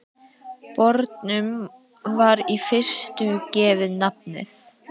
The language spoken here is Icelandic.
Bornum var í fyrstu gefið nafnið